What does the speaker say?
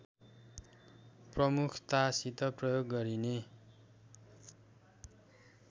प्रमुखतासित प्रयोग गरिने